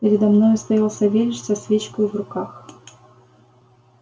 передо мною стоял савельич со свечкою в руках